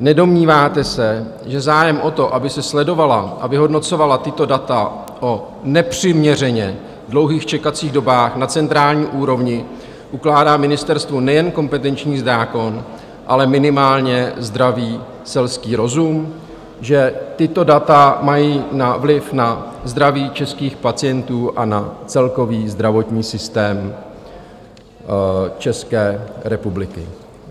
Nedomníváte se, že zájem o to, aby se sledovala a vyhodnocovala tato data o nepřiměřeně dlouhých čekacích dobách na centrální úrovni, ukládá ministerstvu nejen kompetenční zákon, ale minimálně zdravý selský rozum, že tato data mají vliv na zdraví českých pacientů a na celkový zdravotní systém České republiky?